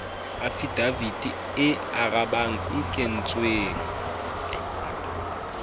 afidavite e arabang e kentsweng